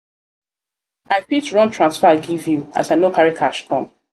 fit run transfer give you as i no carry cash come?